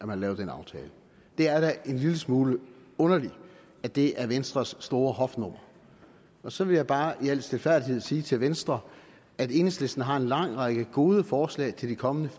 har lavet den aftale det er da en lille smule underligt at det er venstres store hofnummer så vil jeg bare i al stilfærdighed sige til venstre at enhedslisten har en lang række gode forslag til de kommende